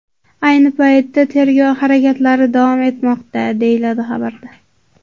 Ayni paytda tergov harakatlari davom etmoqda, deyiladi xabarda.